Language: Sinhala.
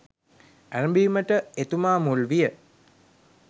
ඇරැඹීමට එතුමා මුල් විය.